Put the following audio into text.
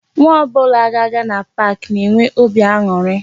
Nwa ọbụla ga-aga na park na-enwe óbị aṅụrị